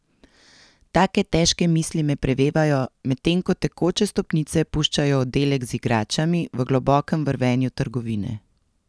Take težke misli me prevevajo, medtem ko tekoče stopnice puščajo oddelek z igračami v globokem vrvenju trgovine.